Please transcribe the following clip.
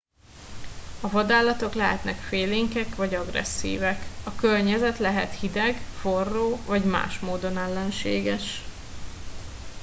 a vadállatok lehetnek félénkek vagy agresszívek a környezet lehet hideg forró vagy más módon ellenséges